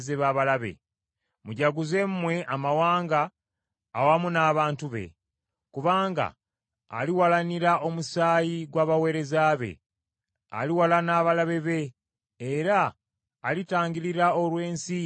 Mujaguze mmwe amawanga awamu n’abantu be, kubanga aliwalanira omusaayi gw’abaweereza be, aliwalana abalabe be, era alitangirira olw’ensi ye n’abantu be.